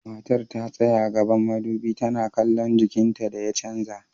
Matar ta tsaya gaban madubi tana kallon jikinta da ya canza.